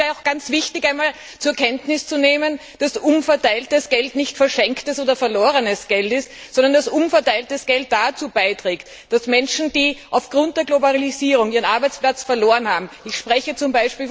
Es wäre sehr wichtig, einmal zur Kenntnis zu nehmen, dass umverteiltes Geld nicht verschenktes oder verlorenes Geld ist, sondern dass umverteiltes Geld dazu beiträgt, dass Menschen, die aufgrund der Globalisierung ihren Arbeitsplatz verloren haben ich spreche z.